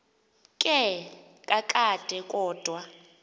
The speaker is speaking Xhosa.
ke kakade kodwa